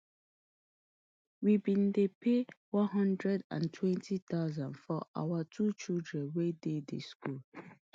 we bin dey pay one hundred and twenty thousand for our two children wey dey di school